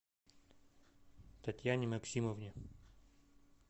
татьяне максимовне